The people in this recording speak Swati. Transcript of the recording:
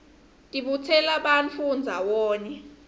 tibutsela bantfu ndzawonye